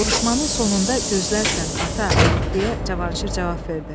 Vuruşmanın sonunda gözlərsən, ata, deyə Cavanşir cavab verdi.